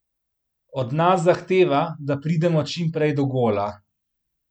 Od nas zahteva, da pridemo čim prej do gola.